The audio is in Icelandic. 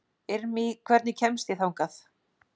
Irmý, hvernig kemst ég þangað?